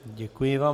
Děkuji vám.